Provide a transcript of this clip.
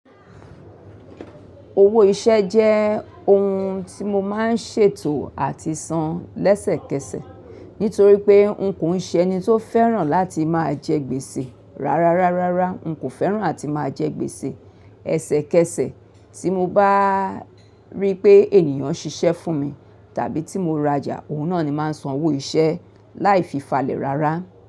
Owó iṣẹ́ jẹ́ ohun tí mo máa ń ṣètò àti san lẹ́sẹ̀kẹsẹ̀ nítorí pé n kò ń ṣẹni tó fẹ́ràn láti máa jẹ gbèsè rárárárárá. N kò fẹ́ràn àti máa jẹ gbèsè. Ẹ̀sẹ̀kẹsẹ̀ tí mo bá rí pé ènìyàn ṣiṣẹ́ fún mi tàbí tí mo rajà, òun náà ni máa ń san owó iṣẹ́ láì fi falẹ̀ rárá.